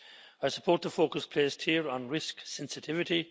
I support the focus placed here on risk sensitivity.